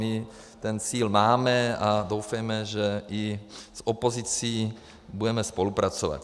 My ten cíl máme a doufejme, že i s opozicí budeme spolupracovat.